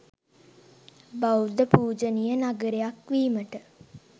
බෞද්ධ පූජනීය නගරයක් වීමට